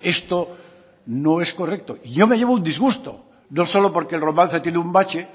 esto no es correcto y yo me llevo un disgusto no solo porque el romance tiene un bache